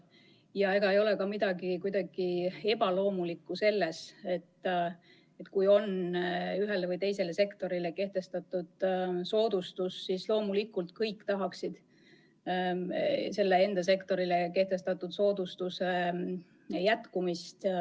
Ja ei ole midagi ebaloomulikku selles, et kui ühele või teisele sektorile on kehtestatud soodustus, siis loomulikult kõik tahaksid enda sektorile kehtestatud soodustuse jätkumist.